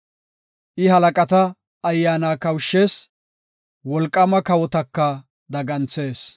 I halaqata ayyaana kawushshees; wolqaama kawotaka daganthees.